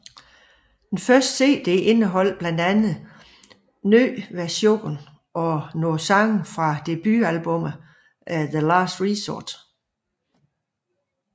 Den første CD indeholder blandt andet nye versioner af nogle sange fra debut albummet The Last Resort